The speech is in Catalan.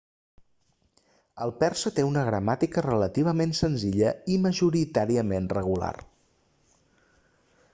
el persa té una gramàtica relativament senzilla i majoritàriament regular